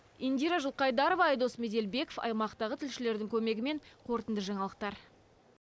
индира жылқайдарова айдос меделбеков аймақтағы тілшілердің көмегімен қорытынды жаңалықтар